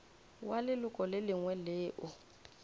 wa leloko le lengwe leo